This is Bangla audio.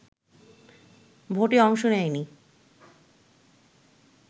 ভোটে অংশ নেয়নি